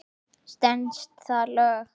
Stenst það lög?